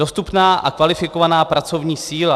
Dostupná a kvalifikovaná pracovní síla.